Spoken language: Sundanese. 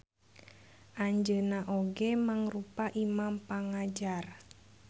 Anjeunna oge mangrupa imam pangajar.